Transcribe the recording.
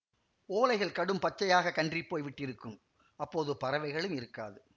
ஓலைகள் கடும் பச்சையாகக் கன்றிப்போய் விட்டிருக்கும் அப்போது பறவைகளும் இருக்காது